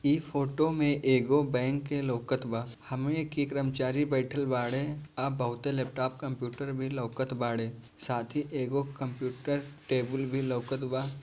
इ फोटो में एगो बैंक के लउकत बा हमनी के कर्मचारी बइठल बाड़े औ लैपटॉप कंप्यूटर भी लउकत बाड़े साथ ही एगो कंप्यूटर टेबल भी लउकत बा।